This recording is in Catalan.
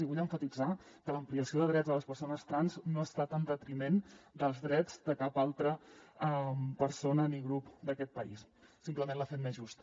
i vull emfatitzar que l’ampliació de drets a les persones trans no ha estat en detriment dels drets de cap altra persona ni grup d’aquest país simplement l’ha fet més just